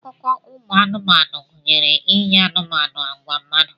Akụkọ anụmanụ gụnyere inye anụmanụ agwa mmadụ.